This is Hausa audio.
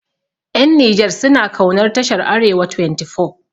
Ƴan Nijar suna kaunar tashar arewa 24